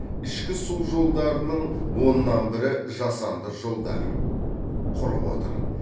ішкі су жолдарының оннан бірі жасанды жолдар кұрып отыр